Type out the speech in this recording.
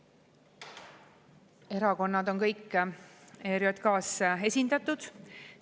Kõik erakonnad on ERJK‑s esindatud.